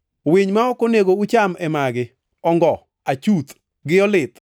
Winy ma ok onego ucham e magi: ongo, achuth, gi olit,